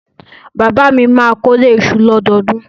Bàbá mi máa kórè iṣu lọ́dọọdún.